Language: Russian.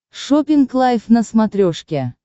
шоппинг лайф на смотрешке